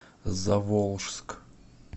заволжск